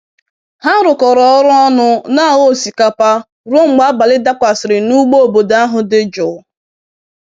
Ha rụkọrọ ọrụ ọnụ n'aghọ osikapa ruo mgbe abalị dakwasịrị n'ugbo obodo ahụ dị jụụ.